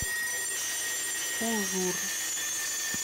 ужур